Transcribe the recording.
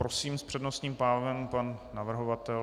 Prosím, s přednostním právem pan navrhovatel.